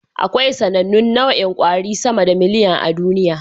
Akwai sAnannun nau'in kwari sama da miliyan a duniya